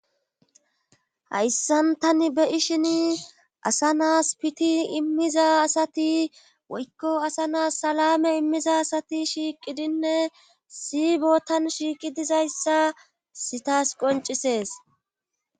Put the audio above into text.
hayssan tani be7ishini asa na7as piti immiza asati woyko asa na7as salaame immiza asati shiiqidinne issi bootan shiiqi dizayssa hayssi tas qonccisses